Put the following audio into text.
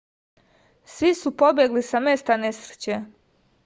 svi su pobegli sa mesta nesreće